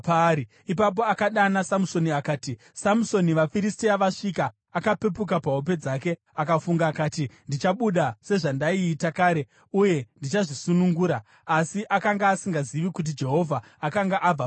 Ipapo akadana Samusoni akati, “Samusoni, vaFiristia vasvika!” Akapepuka pahope dzake akafunga akati, “Ndichabuda sezvandaiita kare uye ndichazvisunungura.” Asi akanga asingazivi kuti Jehovha akanga abva paari.